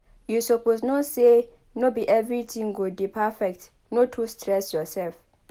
You suppose know sey no be everytin go dey perfect no too stress yoursef.